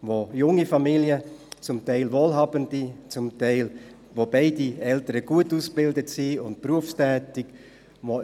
zum Teil junge Familien, zum Teil wohlhabende, bei denen beide Eltern gut ausgebildet und berufstätig sind.